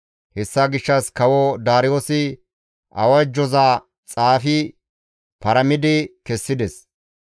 Hessa gishshas Kawo Daariyoosi awajjoza xaafi paramidi kessides.